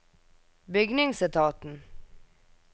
bygningsetaten